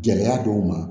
Gɛlɛya dɔw ma